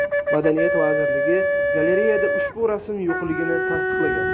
Madaniyat vazirligi galereyada ushbu rasm yo‘qligini tasdiqlagan.